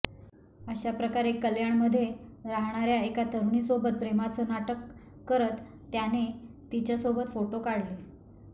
अशाप्रकारे कल्याणमध्ये राहणाऱ्या एका तरुणीसोबत प्रेमाचं नाटक करत त्याने तिच्यासोबत फोटो काढले